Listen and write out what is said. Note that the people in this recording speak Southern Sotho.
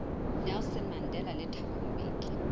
nelson mandela le thabo mbeki